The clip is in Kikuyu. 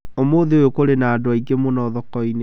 Ũmũthĩ ũyũ kũrĩ na andũ aingĩ mũno thoko-inĩ